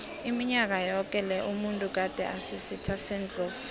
iminyaka yoke le umuntu gade asisitha sendlovu